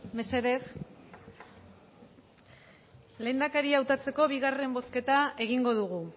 mesedez lehendakaria hautatzeko bigarren bozketa egingo dugu